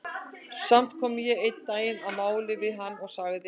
Samt kom ég einn daginn að máli við hann og sagði